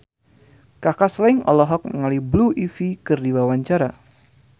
Kaka Slank olohok ningali Blue Ivy keur diwawancara